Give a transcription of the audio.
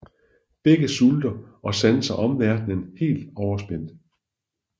Begge sulter og sanser omverdenen helt overspændt